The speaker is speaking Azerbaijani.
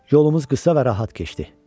Yolumuz qısa və rahat keçdi.